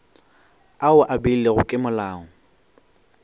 ao a beilwego ke molao